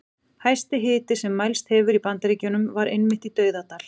Hæsti hiti sem mælst hefur í Bandaríkjunum var einmitt í Dauðadal.